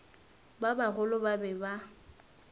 ba bagolo ba be ba